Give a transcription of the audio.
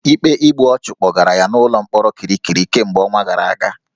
Ikpe igbu ọchụ kpọgara ya n'ụlọ mkpọrọ Kirikiri kemgbe ọnwa gara aga